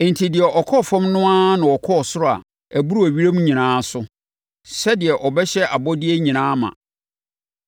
Enti deɛ ɔkɔɔ fam no ara na ɔkɔɔ ɔsoro a ɛboro ewiem nyinaa so, sɛdeɛ ɔbɛhyɛ abɔdeɛ nyinaa ma.